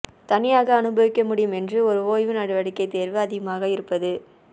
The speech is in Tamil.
தனியாக அனுபவிக்க முடியும் என்று ஒரு ஓய்வு நடவடிக்கை தேர்வு அதிகமாக இருப்பது